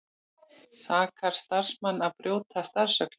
Sakar starfsmenn að brjóta starfsreglur